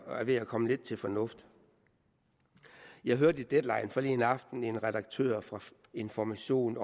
ved at komme lidt til fornuft jeg hørte i deadline forleden aften en redaktør fra information